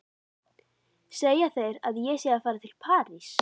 Segja þeir að ég sé að fara til París?